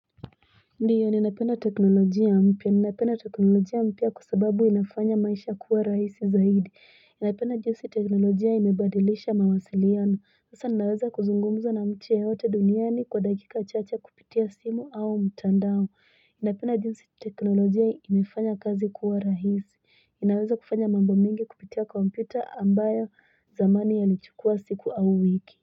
Ndiyo ninapenda teknolojia mpya ninapenda teknolojia mpya kwa sababu inafanya maisha kuwa rahisi zaidi ninapenda jinsi teknolojia imebadilisha mawasiliano sasa ninaweza kuzungumza na mji yoyote duniani kwa dakika chache kupitia simu au mtandao napenda jinsi teknolojia imefanya kazi kuwa rahisi inaweza kufanya mambo mingi kupitia kompyuta ambayo zamani yalichukua siku au wiki.